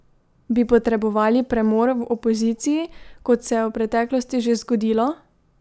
Bi potrebovali premor v opoziciji, kot se je v preteklosti že zgodilo?